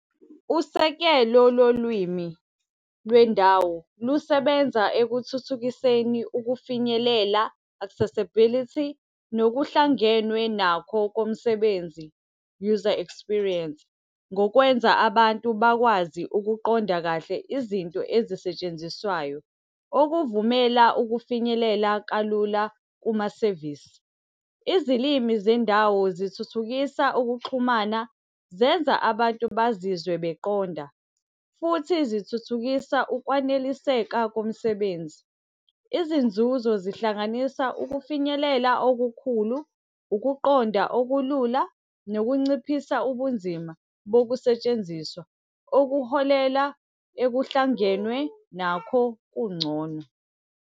Usekelo lolwimi lwendawo, lusebenza ekuthuthukiseni ukufinyelela, accessibility, nokuhlangenwe nakho komsebenzi, user experience. Ngokwenza abantu bakwazi ukuqonda kahle izinto ezisetshenziswayo, okuvumela ukufinyelela kalula kumasevisi. Izilimi zendawo zithuthukisa ukuxhumana, zenza abantu bazizwe beqonda. Futhi zithuthukisa ukwaneliseka komsebenzi. Izinzuzo zihlanganisa ukufinyelela okukhulu, ukuqonda okulula, nokunciphisa ubunzima bokusetshenziswa okuholela ekuhlangenwe nakho kungcono.